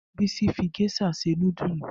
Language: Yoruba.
Bisi fi geisha se nudulu